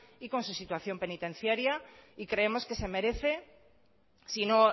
y con su situación penitenciaria y creemos que se merece si no